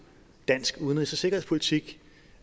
dansk udenrigs og sikkerhedspolitik